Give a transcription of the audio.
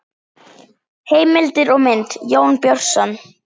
Heimildir og mynd: Jón Björnsson.